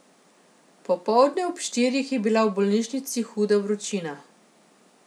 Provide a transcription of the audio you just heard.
Popoldne ob štirih je bila v bolnišnici huda vročina.